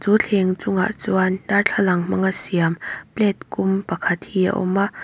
chu thleng chungah chuan darthlalang hmanga siam plate kum pakhat hi a awm a.